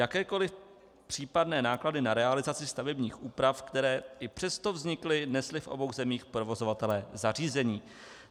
Jakékoli případné náklady na realizaci stavebních úprav, které i přesto vznikly, nesli v obou zemích provozovatelé zařízení.